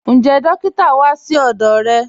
Ǹjẹ́ dòkìtà wá sí ọdọ́ rẹ?